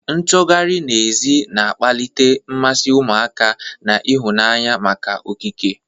Nchọgharị n'èzí na-akpali mmasị ụmụaka na ịhụnanya maka okike,